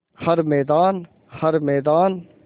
हर मैदान हर मैदान